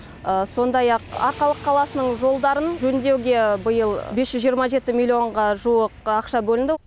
сондай ақ арқалық қаласының жолдарын жөндеуге биыл бес жүз жиырма жеті миллионға жуық ақша бөлінді